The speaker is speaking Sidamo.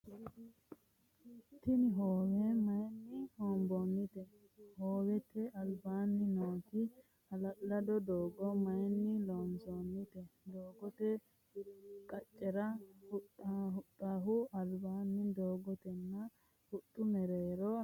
Tinni hoowe mayinni hoonboonnite? Hoowete albaanni nooti ha'lalado doogo mayinni loonsoonnite? Doogote qacera huxahu albaanni dogotenna huxu meerira nooti maati?